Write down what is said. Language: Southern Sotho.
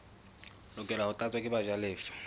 lokela ho tlatswa ke bajalefa